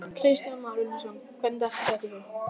Kristján Már Unnarsson: Hvernig datt þér þetta í hug?